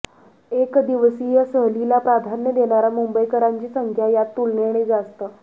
एकदिवसीय सहलीला प्राधान्य देणाऱ्या मुंबईकरांची संख्या यात तुलनेने जास्त